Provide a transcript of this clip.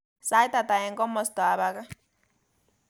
Sait ata eng komostab age